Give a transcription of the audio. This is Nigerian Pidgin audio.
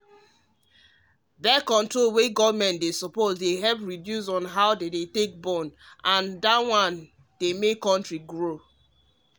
birth-control wey government dey back dey help reduce how dem dey born as way to make di country grow